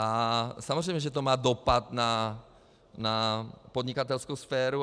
A samozřejmě že to má dopad na podnikatelskou sféru.